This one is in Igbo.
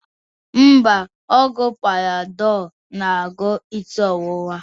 Mba, ọgwụ Panadọl na-agwọ isi ọwụwa